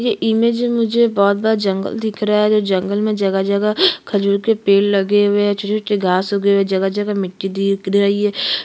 ये इमेज में मुझे एक बहोत बड़ा जंगल दिख रहा है और इस जंगल में जगह-जगह खजूर के पेड़ लगे हुए है घास उगे हुए है जगह-जगह मिट्टी दिख रही है।